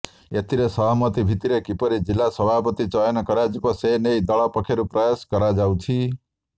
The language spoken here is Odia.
ଏଥିରେ ସହମତି ଭିତ୍ତିରେ କିପରି ଜିଲ୍ଲା ସଭାପତି ଚୟନ କରାଯିବ ସେ ନେଇ ଦଳ ପକ୍ଷରୁ ପ୍ରୟାସ କରାଯାଉଛି